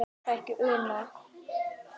Er það ekki Una?